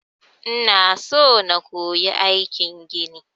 Ina so na koyi aikin gini.